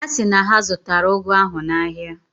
Ha si na ha zụtara ụgụ ahụ n'ahịa.